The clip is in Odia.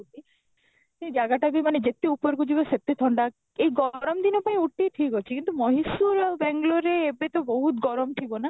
ସେ ଜାଗାଟା ବି ମାନେ ଯେତେ ଉପରକୁ ଯିବ ସେତେ ଥଣ୍ଡା, ଏଇ ଗରମ ଦିନ ପାଇଁ scooty ଠିକ ଅଛି କିନ୍ତୁ Mysore ଆଉ ବାଙ୍ଗାଲୁରୁ ରେ ଏବେ ତ ବହୁତ ଗରମ ଥିବ ନା?